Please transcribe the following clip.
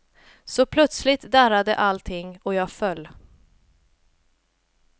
Så plötsligt darrade allting och jag föll.